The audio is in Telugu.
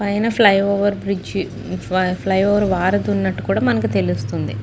Fly over bridge flyover వారధి ఉన్నట్టుగా కూడా మనకు తెలుసునది.